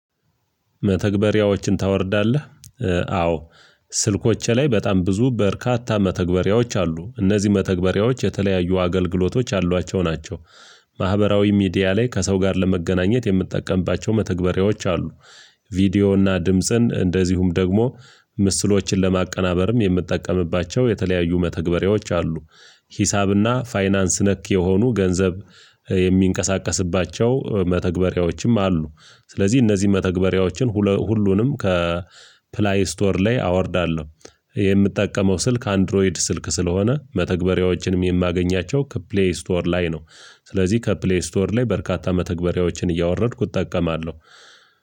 መተግበሪያዎችን ታወርዳለህ ኧ አዎ። ስልኮቼ ላይ በጣም ብዙ በርካታ መተግበሪያዎች አሉ እነዚህ መተግበሪያዎች የተለያዩ አገልግሎቶች አሏቸው ናቸው። ማህበራዊ ሚዲያ ላይ ከሰው ጋር ለመገናኘት የምትጠቀምባቸው መተግበሪያዎች አሉ። ቪዲዮና ድምጽን እንደዚሁም ደግሞ ምስሎችን ለማቀናበርም የምትጠቀምባቸው የተለያዩ መተግበሪያዎች አሉ። ሂሳብና ፋይናንስ ነክ የሆኑ ገንዘብ የሚንቀሳቀስባቸው መተግበሪያዎችም አሉ። ስለዚህ እነዚህ መተግበሪያዎችን ሁለ ሁሉንም ከፕላይ ስቶር ላይ አወርዳለሁ የምጠቀመው ስልክ አንድሮይድ ስልክ ስለሆነ መተግበሪያዎችንም የማገኛቸው ከፕሌይ ስቶር ላይ ነው። ስለዚህ ከፕሌይ ስቶር ላይ በርካታ መተግበሪያዎችን እያወረድኩት እጠቀማለሁ።